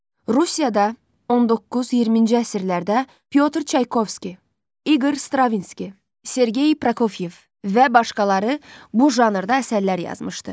Rusiyada 19-20-ci əsrlərdə Pyotr Çaykovski, İqor Stravinski, Sergey Prokofyev və başqaları bu janrda əsərlər yazmışdı.